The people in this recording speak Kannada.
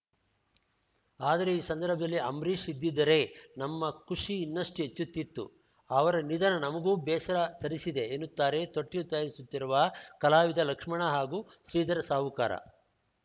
ಆದರೆ ಈ ಸಂದರ್ಭದಲ್ಲಿ ಅಂಬ್ರಿಷ್‌ ಇದ್ದಿದ್ದರೆ ನಮ್ಮ ಖುಷಿ ಇನ್ನಷ್ಟುಹೆಚ್ಚುತ್ತಿತ್ತು ಅವರ ನಿಧನ ನಮಗೂ ಬೇಸರ ತರಿಸಿದೆ ಎನ್ನುತ್ತಾರೆ ತೊಟ್ಟಿಲು ತಯಾರಿಸುತ್ತಿರುವ ಕಲಾವಿದ ಲಕ್ಷ್ಮಣ ಹಾಗೂ ಶ್ರೀಧರ ಸಾವುಕಾರ